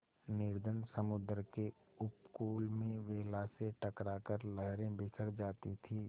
निर्जन समुद्र के उपकूल में वेला से टकरा कर लहरें बिखर जाती थीं